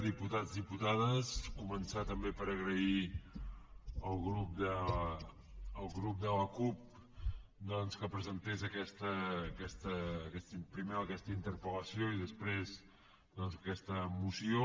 diputats diputades començar també per agrair al grup de la cup doncs que presentés primer aquesta interpel·lació i després doncs aquesta moció